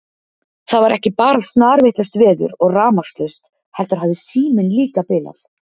Það var ekki bara snarvitlaust veður og rafmagnslaust heldur hafði síminn líka bilað.